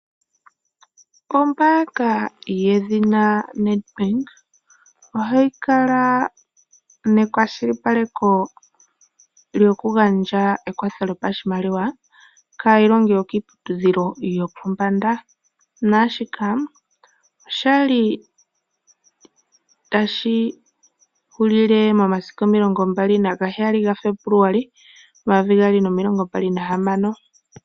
Ombaanga yedhina Nedbank, ohayi kala nekwashilipaleko lyokugandja ekwatho lyopashimaliwa kaailongi yokiiputudhilo yopombanda, naashika osha li tashi hulile momasiku 27 Febuluali 2026.